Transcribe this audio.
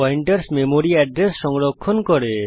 pointers memory address সংরক্ষণ করে